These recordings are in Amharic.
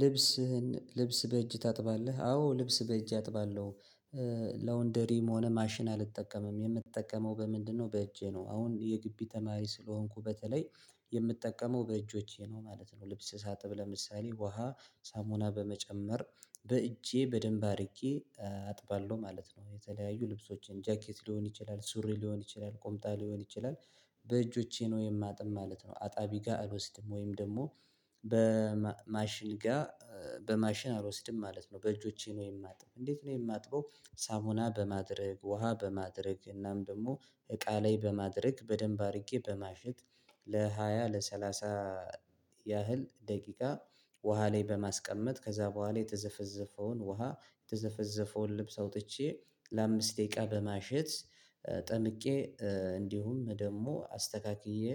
ልብስህን ልብስ በእጅ ታጥባለህ? አዎ ልብስ በእጅ አጥባለሁ። ላውንደሪም ሆነ ማሽን አልጠቀምም የምትጠቀመው በምንድነው? በእጄ ነው አሁን የግቢ ተማሪ ስለሆንኩ በተለይ የምትጠቀመው በእጆቼ ነው ማለት ነው። ልብስ ሳጥብ ለምሳሌ ውሃ ሳሙና በመጨመር በእጄ በደንብ አድርጌ አጥባለሁ ማለት ነው። የተለያዩ ልብሶችን ጃኬት ሊሆን ይችላል ሱሪ ሊሆን ይችላል ቁምጣ ሊሆን ይችላል። በእጆቼ ነው የማጥብ ማለት ነው አጣቢ ጋር አልወስድም ወይም ደግሞ በማሽን ጋር በማሽን አልወስድም ማለት ነው። በእጆቼ ነው የማጥበው። እንዴት ነው የማጥበው ሳሙና በማድረግ ውሃ በማድረግ እናም ደግሞ እቃ ላይ በማድረግ በደንብ አድርጌ በማሸት። ለሃያ ለሰላሳ ያህል ደቂቃ ውሃ ላይ በማስቀመጥ ከዛ በኋላ የተዘፈዘፈውን ውሃ የተዘፈዘፈውን ልብስ አውጥቼ ለአምስት ደቂቃ በማሸት ጠምቄ እንዲሁም ደግሞ አስተካክዬ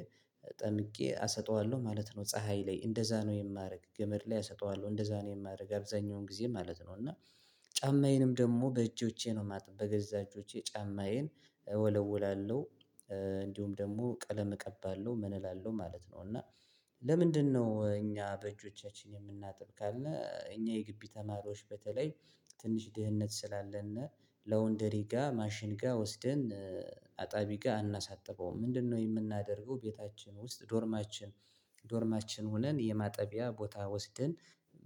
ጠምቄ አሰጠዋለሁ ማለት ነው። ፀሀይ ላይ እንደዛ ነው የማደርግ ገመድ ላይ አሰጠዋለሁ እንደዛ ነው የማደርገው። አብዛኛውን ጊዜ ማለት ነው። እና ጫማዬንም ደግሞ በእጆቼ ነው ማጥበብ በገዛ እጆቼ ጫማዬን እወለውላለሁ። እንዲሁም ደግሞ ቀለም እቀባለሁ ምን እላለሁ ማለት ነው። እና ለምንድነው እኛ በእጆቻችን የምናጥብ ካለ እኛ የግቢ ተማሪዎች በተለይ ትንሽ ድህነት ስላለና ለወንደሪ ጋር ማሽን ጋር ወስደን አጣቢ ጋር አናሳጥበውም። ምንድነው የምናደርገው? ቤታችን ውስጥ ዶርማችን ዶርማችን ሆነን የማጠቢያ ቦታ ወስደን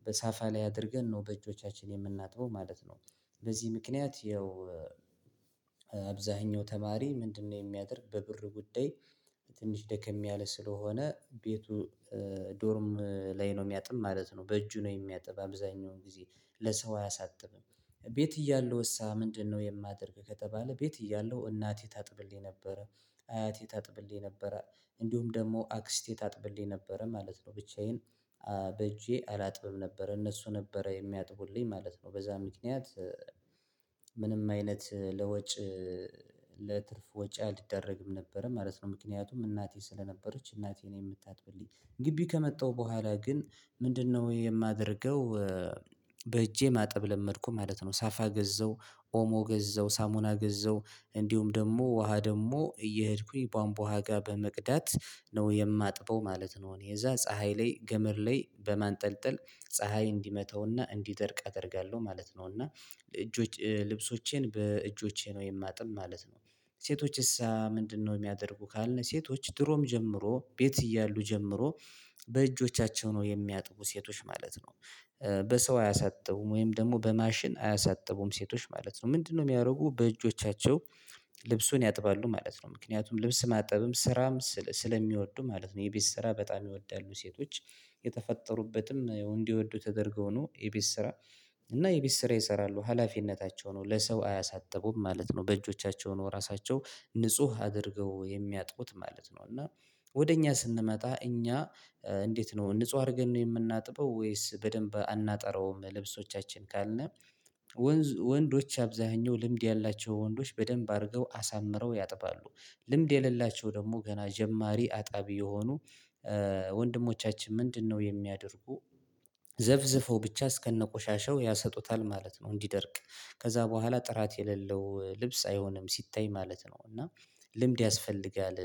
በሳፋ ላይ አድርገን ነው በእጆቻችን የምናጥበው ማለት ነው። በዚህ ምክንያት ይኸው አብዛኛው ተማሪ ምንድነው? የሚያደርግ በብር ጉዳይ ትንሽ ደከም ያለ ስለሆነ ቤቱ ዶርም ላይ ነው የሚያጥብ ማለት ነው። በእጁ ነው የሚያጥብ አብዛኛውን ጊዜ ለሰው አያሳጥብም። ቤት እያለሁ እሳ ምንድነው? የማደርግ ከተባለ ቤት እያለሁ እናቴ ታጥብልኝ ነበረ። አያቴ ታጥብልኝ ነበረ። እንዲሁም ደግሞ አክስቴ ታጥብልኝ ነበረ ማለት ነው። ብቻዬን በእጄ አላጥብም ነበረ። እነሱ ነበረ የሚያጥቡልኝ ማለት ነው። በዛ ምክንያት ምንም አይነት ለወጭ ለትርፍ ወጪ አልደረግም ነበረ ማለት ነው። ምክንያቱም እናቴ ስለነበረች እናቴ ነው የምታጥብልኝ ግቢ ከመጣሁ በኋላ ግን ምንድነው የማደርገው? በእጄ ማጠብ ለመድኩ ማለት ነው። ሳፋ ገዘው ኦሞ ገዘው ሳሙና ገዘው እንዲሁም ደግሞ ውሃ ደግሞ እየሄድኩኝ ቧንቧ ጋር በመቅዳት ነው የማጥበው ማለት ነው። የዛ ፀሀይ ላይ ገመር ላይ በማንጠልጠል ፀሀይ እንዲመተውና እንዲደርቅ አደርጋለሁ ማለት ነው። እና ልብሶቼን በእጆቼ ነው የማጥብ ማለት ነው። ሴቶችስ ምንድነው የሚያደርጉ ካልነው ሴቶች ድሮም ጀምሮ ቤት እያሉ ጀምሮ በእጆቻቸው ነው የሚያጥቡ ሴቶች ማለት ነው። በሰው አያሳጥቡም ወይም ደግሞ በማሽን አያሳጥቡም ሴቶች ማለት ነው። ምንድነው የሚያደርጉ? በእጆቻቸው ልብሱን ያጥባሉ ማለት ነው ምክንያቱም ልብስ ማጠብም ስራም ስለሚወዱ ማለት ነው። የቤት ስራ በጣም ይወዳሉ ሴቶች። የተፈጠሩበትም እንዲወዱ ተደርገው ነው የቤት ስራ እና የቤት ስራ ይሰራሉ ሀላፊነታቸው ነው ለሰው አያሳጥቡም ማለት ነው። በእጆቻቸው ነው ራሳቸው ንጹህ አድርገው የሚያጥቡት ማለት ነው። እና ወደ እኛ ስንመጣ እኛ እንዴት ነው ንጹህ አድርገን ነው የምናጥበው። ወይስ በደንብ አናጠራውም ልብሶቻችን ካልን ወንድ ወንዶች አብዛኛው ልምድ ያላቸው ወንዶች በደንብ አድርገው አሳምረው ያጥባሉ። ልምድ የሌላቸው ደግሞ ገና ጀማሪ አጣቢ የሆኑ ወንድሞቻችን ምንድነው የሚያደርጉ? ዘፍዝፈው ብቻ እስከነ ቆሻሻው ያሰጡታል ማለት ነው። እንዲደርቅ ከዛ በኋላ ጥራት የሌለው ልብስ አይሆንም ሲታይ ማለት ነው። እና ልምድ ያስፈልጋል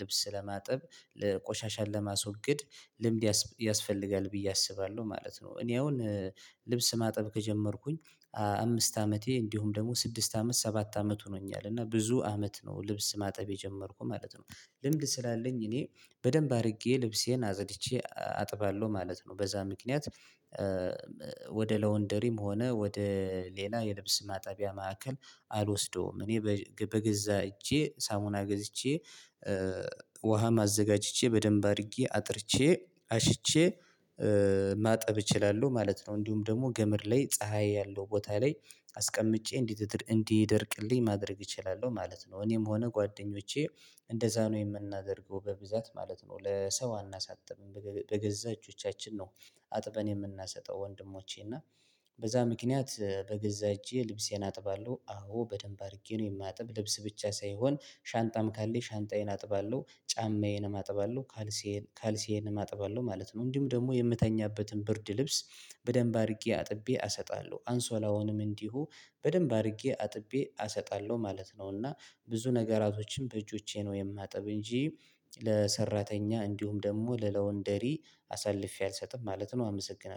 ልብስ ለማጥብ ለቆሻሻን ለማስወገድ ልምድ ያስፈልጋል ብዬ አስባለሁ ማለት ነው። እኔ አሁን ልብስ ማጥብ ከጀመርኩኝ አምስት አመቴ እንዲሁም ደግሞ ስድስት አመት ሰባት አመት ሆኖኛል። እና ብዙ አመት ነው ልብስ ማጠብ የጀመርኩ ማለት ነው። ልምድ ስላለኝ እኔ በደንብ አድርጌ ልብሴን አጽድቼ አጥባለሁ ማለት ነው። በዛ ምክንያት ለወንደሪም ሆነ ወደ ሌላ የልብስ ማጠቢያ ማዕከል አልወስደውም። እኔ በገዛ እጄ ሳሙና ገዝቼ ውሃ ማዘጋጅቼ በደንብ አድርጌ አጥርቼ አሽቼ ማጠብ እችላለሁ ማለት ነው። እንዲሁም ደግሞ ገመድ ላይ ፀሀይ ያለው ቦታ ላይ አስቀምጬ እንዲደርቅልኝ ማድረግ እችላለሁ ማለት ነው። እኔም ሆነ ጓደኞቼ እንደዛ ነው የምናደርገው በብዛት ማለት ነው። ለሰው አናሳጥብም በገዛ እጆቻችን ነው። አጥበን የምናሰጠው ወንድሞቼ እና በዛ ምክንያት በገዛ እጄ ልብሴን አጥባለሁ። አዎ በደንብ አድርጌ ነው የማጥብ ልብስ ብቻ ሳይሆን ሻንጣም ካለኝ ሻንጣዬን አጥባለሁ ጫማዬንም አጥባለሁ። ካልሲዬንም ካልሲዬንም አጥባለሁ ማለት ነው። እንዲሁ ደግሞ የምተኛበትን ብርድ ልብስ በደንብ አድርጌ አጥቤ አሰጣለሁ አንሶላውንም እንዲሁ በደንብ አድርጌ አጥቤ አሰጣለሁ ማለት ነው። እና ብዙ ነገራቶችን በእጆቼ ነው የማጥብ እንጂ ለሰራተኛ እንዲሁም ደግሞ ለለወንደሪ አሳልፌ አልሰጥም ማለት ነው። አመሰግናለሁ